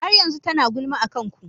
Har yanzu tana gulma akan ku.